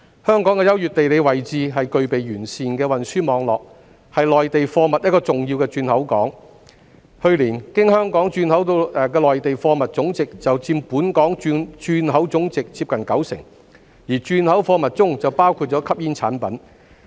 香港的優越地理位置及具備完善的運輸網絡，是內地貨物一個重要的轉口港，去年，經香港轉口的內地貨物總值就佔本港轉口總值接近九成，而轉口貨物中就包括吸煙產品。